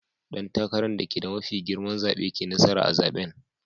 Dan takaran dake da mafi girma zabe ke nasara a'zaben.